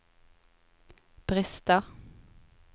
brister